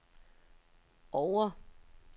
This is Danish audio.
Oure